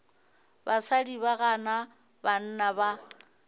basadi ba gana banna ba